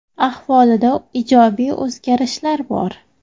Ahvolida ijobiy o‘zgarishlar bor.